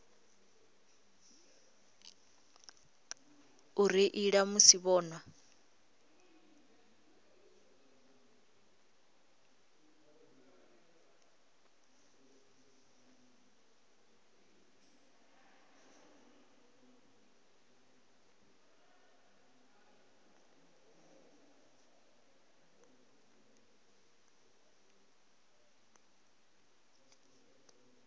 u reila musi vho nwa